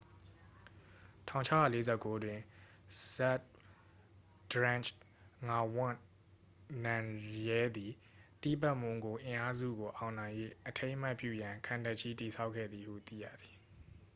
1649တွင် ဇတ်ဘ်ဒရန့်ဂျ် ငါဝန့် နမ်ရဲသည် တိဘက်မွန်ဂို အင်အားစုကို အောင်နိုင်၍ အထိမ်းအမှတ်ပြုရန် ခံတပ်ကြီး တည်ဆောက်ခဲ့သည်ဟု သိရသည်